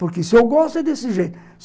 Porque se eu gosto, é desse jeito.